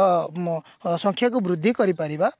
ଅ ମ ସଂଖ୍ୟା କୁ ବୃଦ୍ଧି କରି ପାରିବା